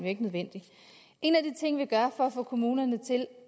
ikke nødvendig en af de ting vi gør for at få kommunerne til